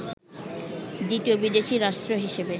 দ্বিতীয় বিদেশি রাষ্ট্র হিসেবে